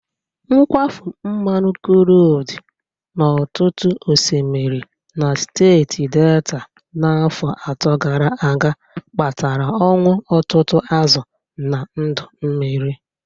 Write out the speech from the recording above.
Nkwafụ nmanụ krud n'ọtụtụ osmiri na steeti Delta n'afọ atọ gara aga kpatara ọnwụ ụtụtụ azụ na ndụ mmiri.